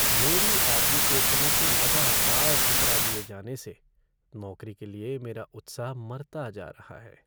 मेरे एप्लीकेशनों को लगातार ठुकरा दिये जाने से नौकरी के लिए मेरा उत्साह मरता जा रहा है।